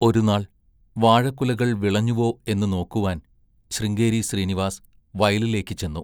ഒരുനാൾ വാഴക്കുലകൾ വിളഞ്ഞുവോ എന്നുനോക്കുവാൻ ശൃംഗേരി ശ്രീനിവാസ് വയലിലേക്ക് ചെന്നു.